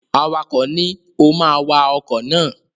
Awakọ̀ ni, "o ma wa ọkọ̀ náà!"